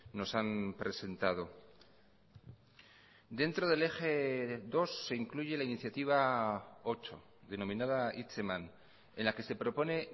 nos han presentado dentro del eje dos se incluye la iniciativa ocho denominada hitzeman en la que se propone